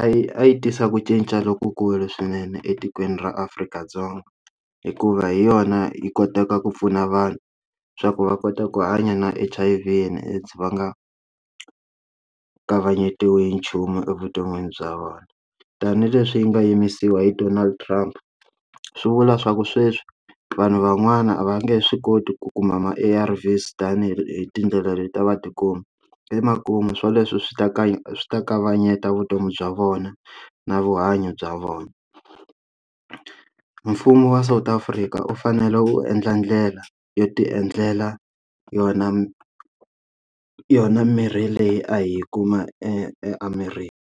a yi a yi tisa ku cinca lokukulu swinene etikweni ra Afrika-Dzonga hikuva hi yona yi kotaka ku pfuna vanhu swa ku va kota ku hanya na H_I_V and AIDS yi leti va nga kavanyetiwi hi nchumu evuton'wini bya vona tanihileswi yi nga yimisiwa hi Donald Trump swi vula swa ku sweswi vanhu van'wana a va nge swi koti ku kuma ma A_R_V-S tanihi hi tindlela leti va tikuma emakumu swo leswi swi ta ka swi ta kavanyeta vutomi bya vona na vuhanyo bya vona mfumo wa South Afrika u fanele u endla ndlela yo ti endlela yona yona mirhi leyi a yi kuma eAmerika.